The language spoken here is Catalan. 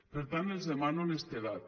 per tant els demano honestedat